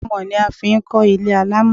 Àmọ̀ ni a fi ń kọ́ ilé alámọ̀